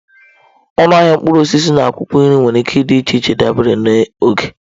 Ọnụ ahịa mkpụrụ osisi na akwụkwọ nri nwere ike ịdị iche dabere na oge.